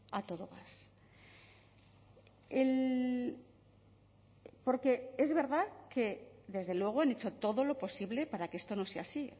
a todo gas porque es verdad que desde luego han hecho todo lo posible para que esto no sea así